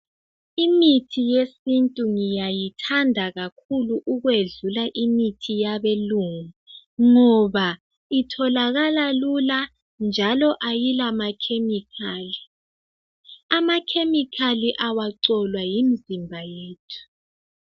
Imithi yesintu ngiyayithanda kakhulu ukwedlula imithi yabelungu ngoba itholakala lula njalo ayilamakhemikhali. Amakhemikhali awacolwa yimizimba yethu.